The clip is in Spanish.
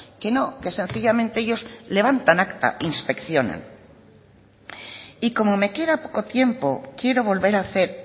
que no que sencillamente ellos levantan acta inspeccionan y como me queda poco tiempo quiero volver a hacer